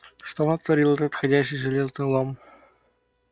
что натаорил этот ходячий железный лом